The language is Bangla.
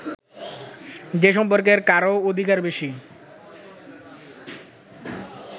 যে সম্পর্কে কারও অধিকার বেশি